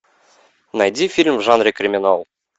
найди фильм в жанре криминал